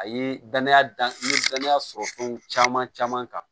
A ye danaya dan n ye danaya sɔrɔ fɛnw caman caman kan